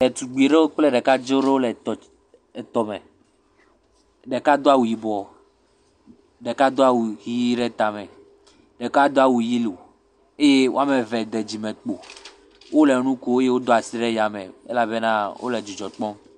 Etugbui ɖewo kple ɖekadze aɖewo le fefem le tɔme, ɖeka do awu yibɔ ɖeka do awu hi ɖe tame ɖeka do awu yellow, eye woame eve ɖe dzimekpo wole nu kom eye wodo asi ɖe yame elabena wole dzidzɔ kpɔm.